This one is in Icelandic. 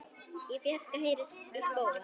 Í fjarska heyrist í spóa.